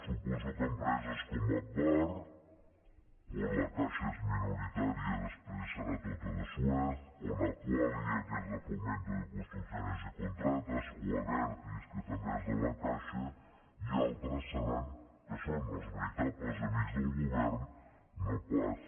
suposo que empreses com agbar on la caixa és minoritària i després serà tota de suez o aqualia que és de fomento de construcciones y contratas o abertis que també és de la caixa i altres seran que són els veritables amics del govern no pas